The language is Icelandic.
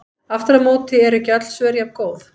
Aftur á móti eru ekki öll svör jafngóð.